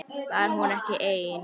Var hún ekki ein?